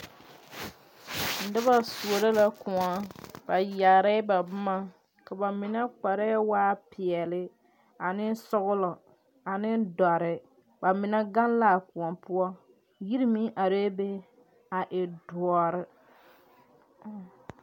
Noba soɔro la koɔ. Ba yaarɛ ba boma. Ka ba mene kpare waa piɛli, ane sɔglɔ, ane doɔre. Ba mene gang la a koɔ poʊ. Yire meŋ areɛ be a e duore